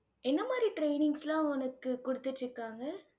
என்ன மாதிரி trainings லாம் உனக்கு குடுத்துட்டிருக்காங்க?